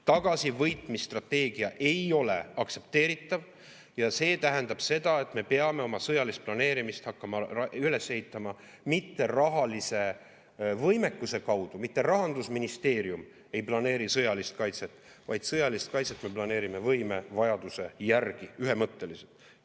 Tagasivõitmise strateegia ei ole aktsepteeritav ja see tähendab seda, et me peame oma sõjalist planeerimist hakkama üles ehitama mitte rahalise võimekuse alusel, mitte Rahandusministeerium ei planeeri sõjalist kaitset, vaid sõjalist kaitset me planeerime võimevajaduse järgi ühemõtteliselt.